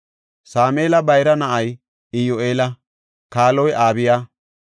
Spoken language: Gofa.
Sameela bayra na7ay Iyyu7eela; kaaloy Abiya.